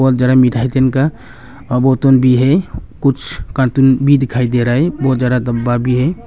जरा मिठाई तिनका अबूतून भी है कुछ कार्टून भी दिखाई दे रहा है बहुत ज्यादा डब्बा भी है।